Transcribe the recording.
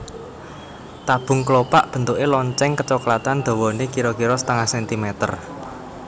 Tabung kelopak bentuke lonceng kecoklatan dhawané kira kira setengah centimeter